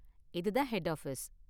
இது தான் head office.